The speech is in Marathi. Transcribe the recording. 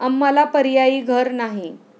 आम्हाला पर्यायी घर नाही.